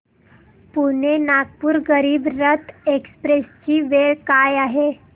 Pune Nagpur Garib Rath express ची वेळ काय आहे